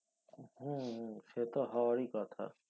হম সে তো হওয়ারি কথা